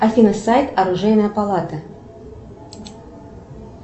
афина сайт оружейная палата